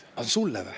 Sulle või?!